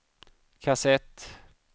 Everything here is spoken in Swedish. kassett